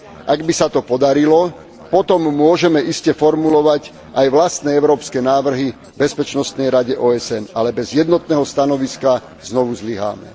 Ak by sa to podarilo, potom môžeme iste formulovať aj vlastné európske návrhy Bezpečnostnej rade OSN, ale bez jednotného stanoviska znovu zlyháme.